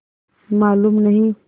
मालूम नहीं